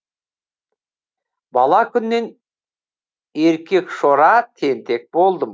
бала күннен еркекшора тентек болдым